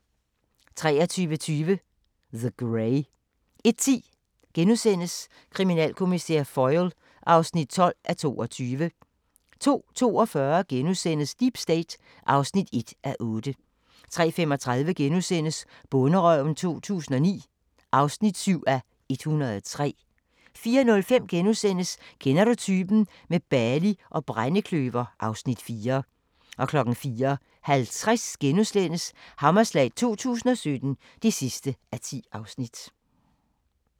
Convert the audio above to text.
23:20: The Grey 01:10: Kriminalkommissær Foyle (12:22)* 02:42: Deep State (1:8)* 03:35: Bonderøven 2009 (7:103)* 04:05: Kender du typen? – med Bali og brændekløver (Afs. 4)* 04:50: Hammerslag 2017 (10:10)*